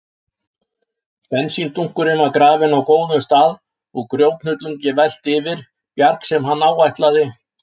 Bensíndunkurinn var grafinn á góðum stað og grjóthnullungi velt yfir, bjarg sem hann áætlaði